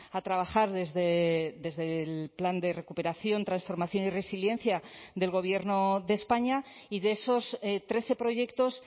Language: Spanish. a trabajar desde el plan de recuperación transformación y resiliencia del gobierno de españa y de esos trece proyectos